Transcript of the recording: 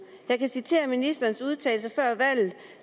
jeg kan citere fra ministerens udtalelse før valget